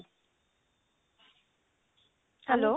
hello